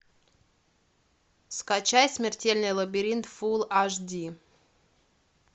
скачай смертельный лабиринт фул аш ди